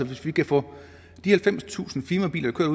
hvis vi kan få de halvfemstusind firmabiler der